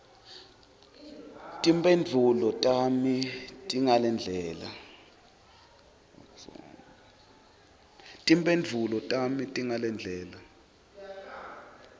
timphendvulo tami tingalendlela